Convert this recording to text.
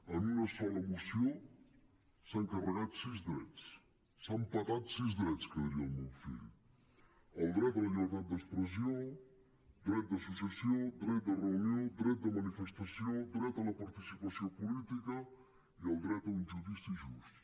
en una sola moció s’han carregat sis drets s’han petat sis drets que di·ria el meu fill el dret a la llibertat d’expressió dret d’associació dret de reunió dret de manifestació dret a la participació política i el dret a un judici just